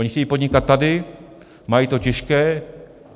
Oni chtějí podnikat tady, mají to těžké.